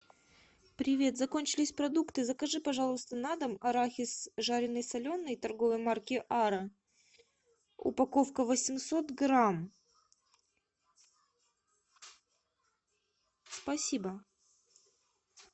привет закончились продукты закажи пожалуйста на дом арахис жареный соленый торговой марки ара упаковка восемьсот грамм спасибо